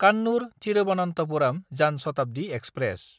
कान्नुर–थिरुबनन्थपुरम जान शताब्दि एक्सप्रेस